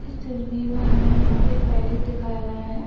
इस तस्बीर में हमे यहाँ पे एक पैलेस दिखाया गया है।